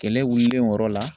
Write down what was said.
Kɛlɛ wililen o yɔrɔ la